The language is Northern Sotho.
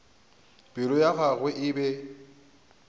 pelo ya gagwe e be